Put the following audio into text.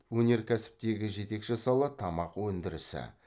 өнеркәсіптегі жетекші сала тамақ өндірісі